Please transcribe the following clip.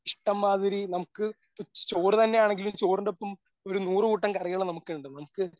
ഇഷ്ടം മാതിരി നമുക്ക് ചോറ് തന്നെയാണെങ്കിലും ചോറിൻ്റെ ഒപ്പം ഒരു നൂറുകൂട്ടം കറികള് നമുക്കുണ്ട്. നമുക്ക്